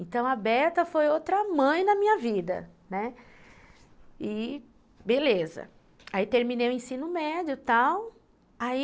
então a foi outra mãe na minha vida, né, e, beleza, aí terminei o ensino médio tal, aí